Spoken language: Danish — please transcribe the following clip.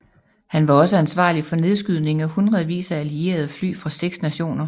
Han var også ansvarlig for nedskydning af hindredvis af allierede fly fra seks nationer